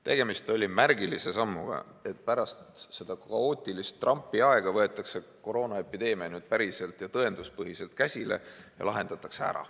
Tegemist oli märgilise sammuga, et pärast kaootilist Trumpi aega võetakse koroonaepideemia nüüd päriselt ja tõenduspõhiselt käsile ning lahendatakse.